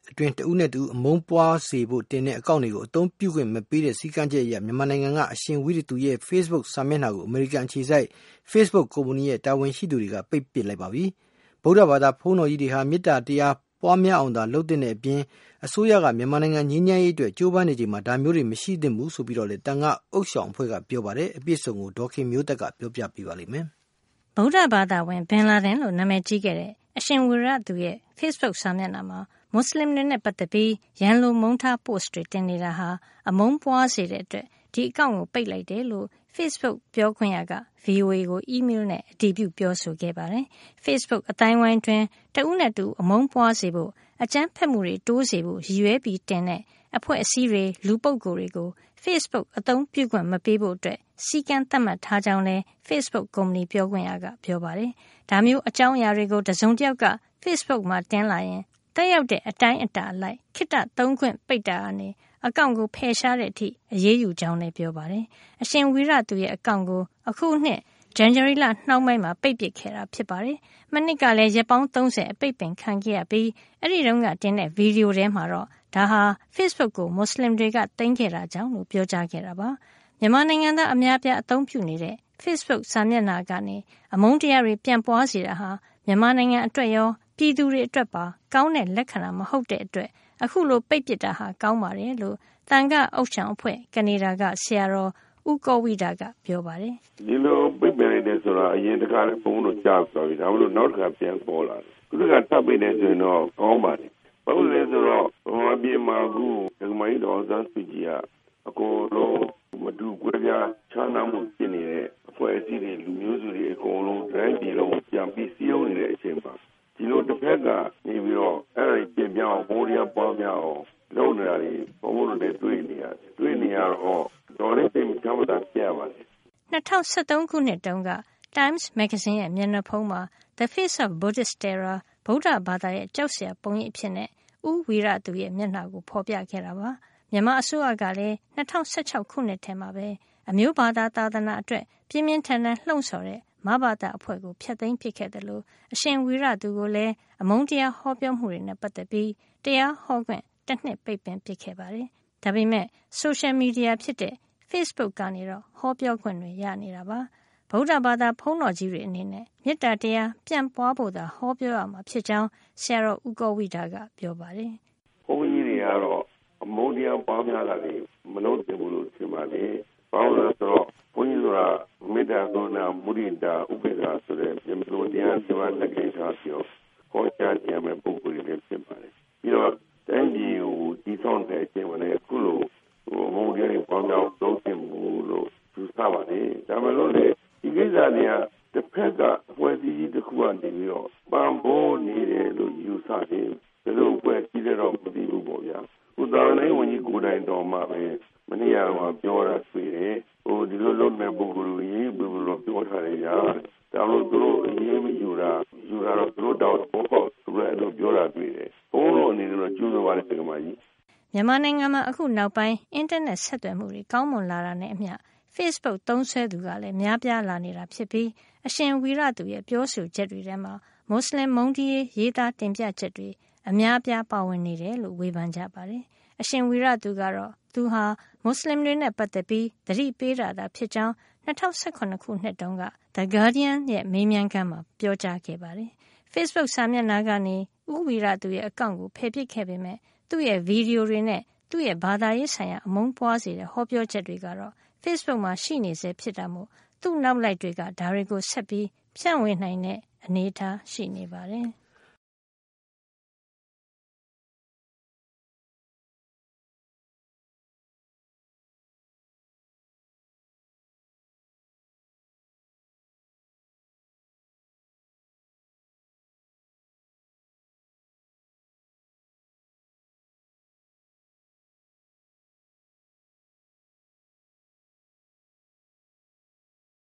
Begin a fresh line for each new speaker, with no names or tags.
အတွင်း တဦးနဲ့တဦး အမုန်းပွါးစေဖို့တင်တဲ့ အကောင့်တွေကို အသုံးပြုခွင့်မပေးတဲ့ စည်းကမ်းချက်အရ မြန်မာနိုင်ငံက အရှင်ဝီရသူရဲ့ ဖေ့ဘုတ်စာမျက်နှာကို အမေရိကန်အခြေစိုက် ဖေ့ဘုတ်ကုမ္ပဏီရဲ့ တာဝန်ရှိသူတွေက ပိတ်ပစ်လိုက်ပါပြီ။ ဗုဒ္ဓဘာသာဘုန်းတော်ကြီးတွေဟာ မေတ္တာတရား ပွါးများအောင်သာ လုပ်သင့်တဲ့အပြင် အစိုးရက မြန်မာနိုင်ငံ ငြိမ်းချမ်းရေးအတွက် ကြိုးပမ်းနေချိန်မှာ ဒါမျိုးတွေ မရှိသင့်ဘူးလို့ သံယာ့ဥသျှောင်အဖွဲ့က ပြောပါတယ်။ အပြည့်အစုံကို ဒေါ်ခင်မျိုးသက်က ပြောပြမှာပါ။ ဗုဒ္ဓဘာသာဝင် ဘင်လာဒင်လို့ နာမည်ကြီးခဲ့တဲ့ အရှင်ဝီရသူရဲ့ ဖေ့ဘုတ်စာမျက်နှာမှာ မူစလင်တွေနဲ့ ပတ်သက်ပြီး ရန်လိုမုန်းထားတဲ့ ပို့စ်တွေ တင်နေတာဟာ အမုန်းပွါးစေတဲ့ အတွက် ဒီအကောင့်ကို ပိတ်လိုက်တယ်လို့ ဖေ့ဘုတ်ပြောခွင့်ရ Christine Chen က VOA ကို အီးမေးလ်နဲ့ အတည်ပြု ပြောဆိုခဲ့ပါတယ်။ ဖေ့ဘုတ်အသိုင်းအဝိုင်းအတွင်း တဦးနဲ့တဦး အမုန်းပွါးစေဖို့၊ အကြမ်းဖက်မှုတွေတိုးစေဖို့ ရည်ရွယ်ပြီးတင်တဲ့ အဖွဲ့အစည်းတွေ လူပုဂ္ဂိုလ်တွေကို ဖေ့ဘုတ်ကို အသုံးပြုခွင့်မပေးဖို့ စည်းကမ်းသတ်မှတ်ထားကြောင်းလည်း ဖေ့ဘုတ်ကုမ္ပဏီပြောခွင့်ရက ပြောပါတယ်။ ဒါမျိုးအကြောင်းအရာ တွေကို တစုံတယောက်က ဖေ့ဘုတ်မှာ တင်လာရင် သက်ရောက်တဲ့ အတိုင်းအတာ အလိုက် ခေတ္တသုံးခွင့် ပိတ်ပင်တာကနေ အကောင့်ကို ဖယ်ရှားတဲ့အထိအရေးယူကြောင်းလည်း ပြောပါတယ်။ အရှင်ဝီရသူရဲ့ အကောင့်ကို အခု ဇန်နဝါရီလ နှောင်းပိုင်းမှာ ပိတ်ပစ်ခဲ့တာဖြစ်ပါတယ်။ မနှစ်ကလည်း ရက်ပေါင်း ၃၀ အပိတ်ပင်ခံခဲ့ရပြီး အဲဒီတုန်းကတင်တဲ့ ဗီဒီယိုထဲမှာ ဒါဟာ ဖေ့ဘုတ်ကို မူစလင်တွေ သိမ်းခဲ့တာကြောင့်လို့ ပြောကြားခဲ့တာပါ။ မြန်မာနိုင်ငံသား အများအပြား အသုံးပြုနေတဲ့ ဖေ့ဘုတ်စာမျက်နှာကနေ အမုန်းတရားတွေ ပြန့်ပွါးစေတာဟာ မြန်မာနိုင်ငံ အတွက်ရော ပြည်သူတွေအတွက်ပါ ကောင်းတဲ့လက္ခဏာ မဟုတ်တဲ့အတွက် အခုလို ပိတ်ပစ်တာဟာ ကောင်းပါတယ်လို့ သံဃာ့ဥသျှောင်အဖွဲ့၊ ကနေဒါက ဆရာတော် ဦးကောဝိဒက မိန့်ပါတယ်
။ " ဒီလိုပိတ်ပင်တယ်ဆိုတာ အရင်တခါလည်း ဘုန်းဘုန်းတို့ ကြားပြီးပါပြီ။ နောက်တခါ ထပ်ပေါ်လာတာပေါ့။ အခုတခါ ထပ်ပိတ်လိုက်တယ်ဆိုရင်တော့ ကောင်းပါတယ် ဘာဖြစ်လို့လဲဆိုတော့ ဒကာမကြီး ဒေါ်အောင်ဆန်းစုကြည်က မတူကွဲပြားခြားနားမှုဖြစ်နေတဲ့ အဖွဲ့အစည်းတွေ အကုန်လုံး တတိုင်းပြည်လုံးကို ပြန်ပြီးစည်းရုံးနေချိန်မှာ
ဒီလိုတဘက်က အဲ့တာတွေ
ပျက်ပြားအောင်၊ အမုန်းတရားပွား များအောင် လုပ်နေတာတွေကို ဘုန်းဘုန်းတို့တွေလည်း တွေ့နေရတယ်။ တွေ့နေရတော့ တော်တော်လေး စိတ်မချမ်းမသာဖြစ်ရပါတယ်။ "
၂၀၁၃ ခုနှစ်တုန်းက Time မဂ္ဂဇင်းရဲ့ မျက်နှာဖုံးမှာ The Face of Buddhist Terror ဗုဒ္ဓဘာသာရဲ့ ကြောက်စရာပုံရိပ် အဖြစ် ဦးဝီရသူရဲ့ မျက်နှာကို ဖေါ်ပြခဲ့တာပါ။ မြန်မာအစိုးရကလည်း ၂၀၁၆ ခုနှစ်ထဲမှာပဲ အမျိုးဘာသာ၊ သာသနာအတွက် ပြင်းပြင်းထန်ထန် လှုံ့ဆော်တဲ့ မဘသ အဖွဲ့ကို ဖျက်သိမ်းပစ်ခဲ့သလို အရှင်ဝီရသူကိုလည်း အမုန်းတရားဟောပြောမှုတွေနဲ့ ပတ်သက်ပြီး တရားဟောခွင့် တနှစ် ပိတ်ပင်ခဲ့တာပါ။ ဒါပေမယ့် ဆိုရှယ်မီဒီယာဖြစ်တဲ့ ဖေ့ဘုတ်ကနေတော့ ဟောပြောခွင့်ရနေတာပါ။ ဗုဒ္ဓဘာသာဘုန်းတော်ကြီးတွေ အနေနဲ့ မေတ္တာတရားပြန့်ပွါးဖို့သာ ဟောပြောရမှာ ဖြစ်ကြောင်း ဆရာတော် ဦးကောဝိဒက မိန့်ပါတယ်။
" ဘုန်းကြီးတွေကတော့ အမုန်းတရားပွားများတာတွေ မလုပ်သင့်ဘူးလို့ထင်ပါတယ်။ ဘာဖြစ်လို့လဲဆိုတော့ ဘုန်းကြီးတို့က မေတ္တာ၊ ဂရုဏာ၊ မုဒိတာ၊ ဥပေက္ခာဆိုတဲ့ ဗြဟ္မစိုရ်တရားလေးပါး လက်ကိုင်ထားပြီး ဟောပြောရမယ့် ပုဂ္ဂိုလ်တွေလည်း ဖြစ်ပါတယ်။ ပြီးတော့ တိုင်းပြည်တည်ဆောက်နေတဲ့အချိန် အခုလို အမုန်းတရားပွားများအောင် မလုပ်သင့်ဘူးလို့ယူဆပါတယ်။ ဒါပေမဲ့လို့လည်း တဘက်က အဖွဲ့အစည်းကြီးတခုက ပံ့ပိုးနေတယ် ယူဆတယ် ဘယ်လိုအဖွဲ့အစည်းလည်းတော့ မသိဘူးပေါ့လေ။ သာသနာရေး ဝန်ကြီးကိုယ်တိုင် မနေ့တုန်းက ပြောတာဆိုရင် ဒီလိုလုပ်နေတဲ့ ပုဂ္ဂိုလ်တွေကို အရေးယူပေးဖို့ ပြောထားတယ်ဗျာတဲ့ ဒါပေမဲ့ အရေးယူတာ မယူတာ သူတို့တာဝန်ပေါ့လို့ ပြောတာတွေ့တယ်။ ဘုန်းဘုန်းတို့အနေနဲ့တော့ ကြိုဆိုပါတယ် ဒကာမကြီး။
" မြန်မာနိုင်ငံမှာ အခုနောက်ပိုင်း အင်တာနက်ဆက်သွယ်မှုတွေ ကောင်းမွန်လာတာနဲ့ အမျှ ဖေ့ဘုတ်သုံးစွဲသူလည်း များလာနေတာဖြစ်ပြီး အရှင်ဝီရသူရဲ့ ပြောဆိုချက်တွေထဲမှာ မွတ်စလင် မုန်းတီးရေး ရေးသားတင်ပြချက်တွေ အများအပြားပါဝင်နေတယ်လို့ ဝေဖန်ကြပါတယ်။ အရှင်ဝီရသူကတော့ သူဟာ မွတ်စလင်တွေနဲ့ ပတ်သက်ပြီး သတိပေးတာသာဖြစ်ကြောင်း ၂၀၁၇ တုန်းက The Guardian ရဲ့ မေးမြန်းခန်းမှာ ပြောကြားခဲ့တာပါ။ ဖေ့ဘုတ်စာမျက်နှာကနေ ဦးဝီရသူရဲ့ အကောင့်ကို ဖယ်ပစ်ခဲ့ပေမယ့် သူ့ရဲ့ ဗီဒီယိုတွေနဲ့ သူ့ရဲ့ ဘာသာရေးဆိုင်ရာ အမုန်းပွါးစေတဲ့ ဟောပြောချက်တွေက ဖေ့ဘုတ်မှာ ရှိနေဆဲ ဖြစ်တာမို့ သူ့နောက်လိုက်တွေက ဒါတွေကို ဆက်ပြီး ဖြန့်ဝေနိုင်တဲ့
အနေထားရှိနေပါတယ်။